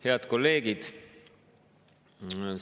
Head kolleegid!